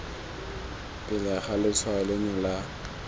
pele ga letshwao leno ga